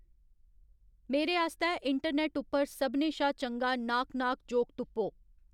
मेरे आस्तै इंटरनैट्ट उप्पर सभनें शा चंगा नाक नाक जोक तुप्पो